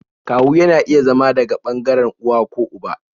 Kawu yana iya zama daga ɓangaren uwa ko uba